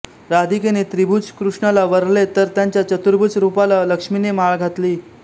राधिकेने द्विभुज कृष्णाला वरले तर त्याच्या चतुर्भुज रूपाला लक्ष्मीने माळ घातली